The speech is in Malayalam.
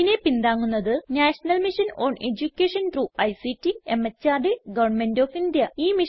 ഇതിനെ പിന്താങ്ങുന്നത് national mission on education through ICT MHRD government of India